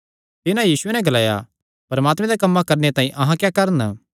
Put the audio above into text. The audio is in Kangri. तिन्हां यीशुये नैं ग्लाया परमात्मे दे कम्मां करणे तांई अहां क्या करन